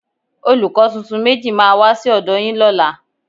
Olùkọ́ tuntun méjì máa wá sí ọ̀dọ́ yín lọ́la